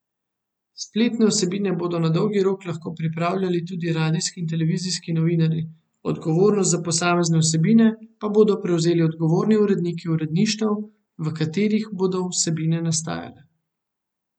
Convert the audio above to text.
Spletne vsebine bodo na dolgi rok lahko pripravljali tudi radijski in televizijski novinarji, odgovornost za posamezne vsebine pa bodo prevzeli odgovorni uredniki uredništev, v katerih bodo vsebine nastajale.